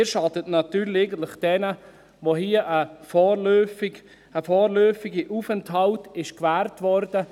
: Sie schaden natürlich eigentlich jenen, denen hier ein vorläufiger Aufenthalt gewährt wurde.